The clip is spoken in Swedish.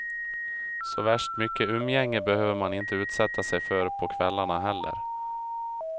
Såvärst mycket umgänge behöver man inte utsätta sig för på kvällarna heller.